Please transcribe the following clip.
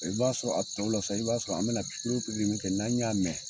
I b'a sɔrɔ a tɔ la sa, i b'a sɔrɔ an be na min kɛ n'an y'a mɛn